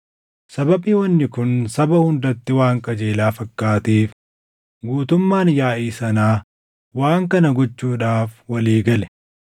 Sababii wanni kun saba hundatti waan qajeelaa fakkaateef guutummaan yaaʼii sanaa waan kana gochuudhaaf walii gale.